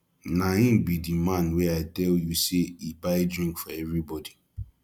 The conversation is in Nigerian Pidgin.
na him be the man wey i tell you say he buy drink for everybody